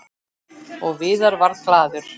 Og Viðar varð glaður.